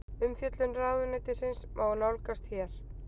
Umfjöllun ráðuneytisins má nálgast hér